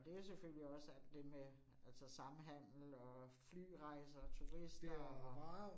Og det jo selvfølgelig også alt det med altså samhandel og flyrejser, turister og